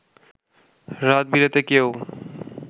রাতবিরেতে কেউ